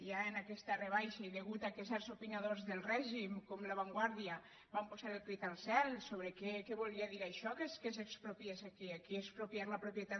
ja amb aquesta rebaixa i a causa que certs opinadors del règim com la vanguardia van posar el crit al cel sobre què volia dir això que s’expropiés aquí aquí expropiar la propietat